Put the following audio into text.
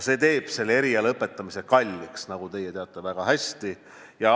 See teeb selle eriala õpetamise kalliks, nagu te väga hästi teate.